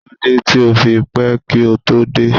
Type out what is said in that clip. Kílódé tí o fi pẹ́ kí o tó dé?